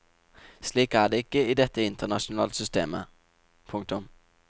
Slik er det ikke i dette internasjonale systemet. punktum